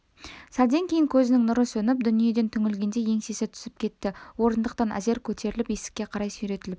сәлден кейін көзінің нұры сөніп дүниеден түңілгендей еңсесі түсіп кетті орындықтан әзер көтеріліп есікке қарай сүйретіліп